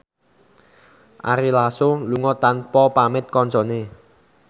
Ari Lasso lunga tanpa pamit kancane